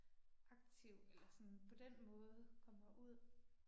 Aktiv eller sådan på den måde kommer ud